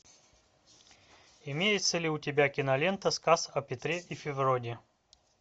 имеется ли у тебя кинолента сказ о петре и февронии